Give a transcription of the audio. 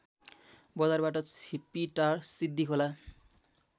बजारबाट छिपिटार सिद्धिखोला